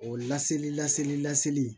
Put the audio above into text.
O laseli laseli laseli